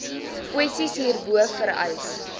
kwessies hierbo vereis